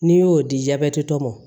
N'i y'o di jabɛti tɔ mɔ